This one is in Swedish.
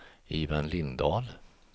Ivan Lindahl